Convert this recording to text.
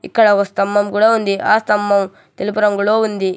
ఇక్కడ ఒక స్తంభం కూడా ఉంది ఆ స్తంభం తెలుపు రంగులో ఉంది.